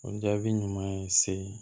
O jaabi ɲuman ye se